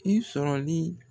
I sɔrɔli